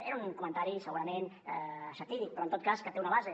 era un comentari segurament satíric però en tot cas que té una base